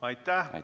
Aitäh!